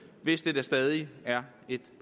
hvis det da stadig er et